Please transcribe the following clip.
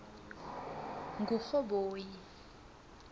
kurhoboyi